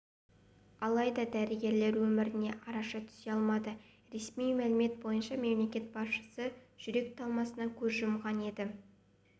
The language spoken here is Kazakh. алайда дәрігерлер өміріне араша түсе алмады ресми мәлімет бойынша мемлекет басшысы жүрек талмасынан көз жұмған енді